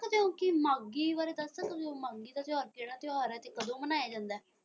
ਤੁਸੀਂ ਮਾਘੀ ਬਾਰੇ ਦੱਸ ਸਕਦੇ ਹੋੰ ਮਾਘੀ ਦਾ ਤਿਉਹਾਰ ਕਿਹੜਾ ਤਿਉਹਾਰ ਹੈ ਤੇ ਕਦੋਂ ਮਨਾਇਆ ਜਾਂਦਾ ਹੈ?